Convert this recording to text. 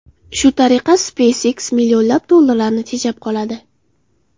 Shu tariqa SpaceX millionlab dollarlarni tejab qoladi.